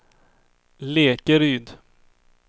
Lekeryd